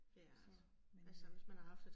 Så, men øh